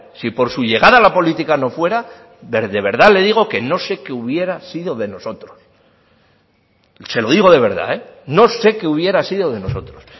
si por su llegada a la política no fuera de verdad le digo que no sé qué hubiera sido de nosotros se lo digo de verdad no sé qué hubiera sido de nosotros